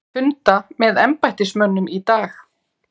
Funda með embættismönnum í dag